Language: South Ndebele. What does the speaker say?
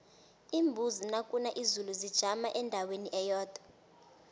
iimbuzi nakuna izulu zijama endaweni eyodwa